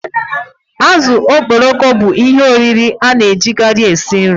Azụ okporoko bụ ihe oriri a na-ejikarị esi nri